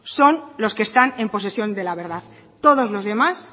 son los que están en posesión de la verdad todos los demás